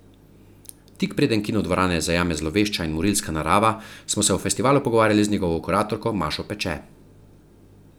Tik preden kinodvorane zajame zlovešča in morilska narava, smo se o festivalu pogovarjali z njegovo kuratorko Mašo Peče.